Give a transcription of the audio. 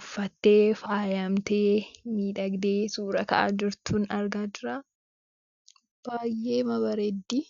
uffatte faayamtee, midhagde suuraa suuraa ka'aa jirtuun argaa jira. baay'eema bareeddi.